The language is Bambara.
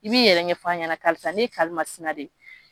I b'i yɛrɛ ɲɛf'an ɲɛna karisa n ye karimasina de ye.